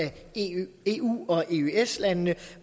eu og eøs landene